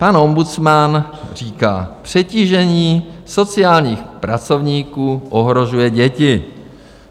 Pan ombudsman říká: přetížení sociálních pracovníků ohrožuje děti.